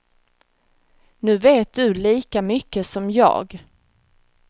Nu vet du lika mycket som jag.